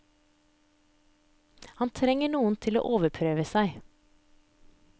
Han trenger noen til å overprøve seg.